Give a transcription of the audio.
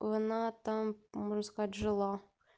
она там можно сказать жила